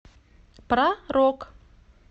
про рок